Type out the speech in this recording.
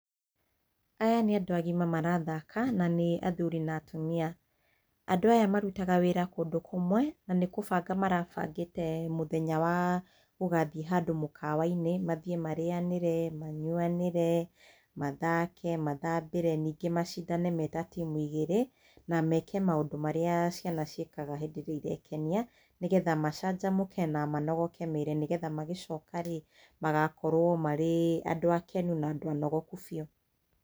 Aya nĩ andũ agima marathaka, na nĩ athuri na atumia. Andũ aya marutaga wĩra kũndũ kũmwe na nĩ kũbanga marabangĩte mũthenya wa gũgathiĩ handũ mũkawa-inĩ. Mathiĩ marĩanĩre, manyuanĩre, mathake mathambĩre, ningĩ macindane me ta timu igĩrĩ, na meke maũndũ marĩa ciana ciĩkaga hĩndĩ ĩrĩa irekenia, nĩgetha macanjamũke na manogo ke mĩĩrĩ, nĩgetha magĩcoka rĩ magakorwo marĩ andũ akenu na andũ anogokũ biũ.